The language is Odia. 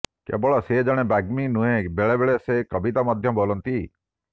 କେବଳ ସେ ଜଣେ ବାଗ୍ମୀ ନୁହଁ ବେଳେ ବେଳେ ସେ କବିତା ମଧ୍ୟ ବୋଲନ୍ତି